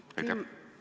Suur tänu!